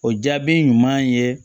O jaabi ɲuman ye